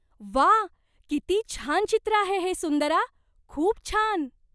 व्वा! किती छान चित्र आहे हे, सुंदरा! खूप छान.